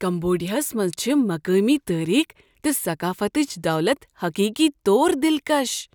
کمبوڈیاہس منز چھ مقٲمی تٲریخ تہٕ ثقافتٕچ دولت حقیقی طور دلکش۔